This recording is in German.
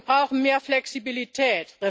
Wir brauchen mehr Flexibilität.